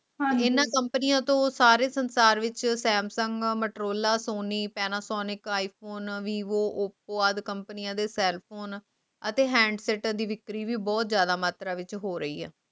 ਹਾਂਜੀ ਹਾਂ ਇਹਨਾਂ ਕੰਪਨੀਆਂ ਤੋਂ ਉਹ ਸਾਰੇ ਸੰਸਾਰ ਵਿੱਚ ਸਤਯਵਰਤਾ ਮਟੋਲ ਸੋਹਣੀ ਪੈਨਾਸੋਨਕ ਬੋਹਤ ਸਾਰੀ ਮਾਤਰਾ ਦੇ ਵਿਚ ਹੋ ਰਹੀ ਹੈ